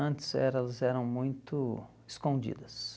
Antes elas eram muito escondidas.